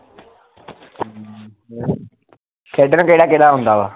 ਖੇਡਣ ਕਿਹੜਾ ਕਿਹੜਾ ਆਉਂਦਾ ਵਾ